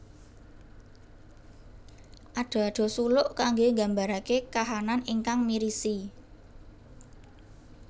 Ada ada suluk kangge mggambaraken kahanan ingkang mirisi